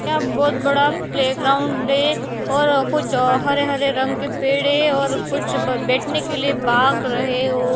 यह बहुत बडा प्ले ग्राऊंड है और कुछ हरे हरे रंग के पेड है और कुछ ब बैठने के लीये बाग रहे वो--